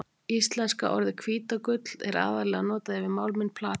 Íslenska orðið hvítagull er aðallega notað yfir málminn platínu.